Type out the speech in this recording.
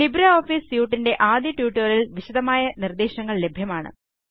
LibreOffice suite ൻറെ ആദ്യ ട്യൂട്ടോറിയലിൽ വിശദമായ നിർദ്ദേശങ്ങൾ ലഭ്യമാണ്